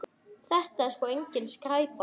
Þetta er sko engin skræpa.